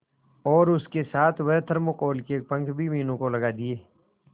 और उसके साथ वह थर्माकोल के पंख भी मीनू को लगा दिए